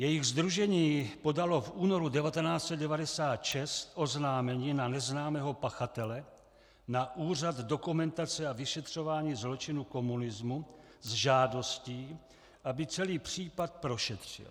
Jejich sdružení podalo v únoru 1996 oznámení na neznámého pachatele na Úřad dokumentace a vyšetřování zločinů komunismu s žádostí, aby celý případ prošetřil.